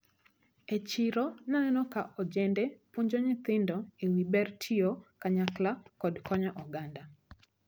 E chiro naneno ka ojende puonjo nyithindo ewi ber tiyo kanyakla kod konyo oganda.